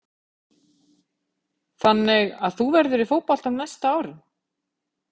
Þannig að þú verður í fótboltanum næstu árin?